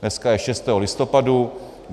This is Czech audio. Dneska je 6. listopadu.